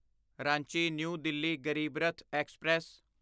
Ranchi new Delhi Garib Rath express